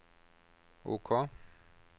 OK